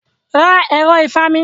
Ra ẹ̀ro ìfami.